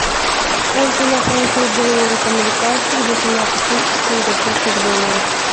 сколько я получу долларов американских за семнадцать тысяч сингапурских долларов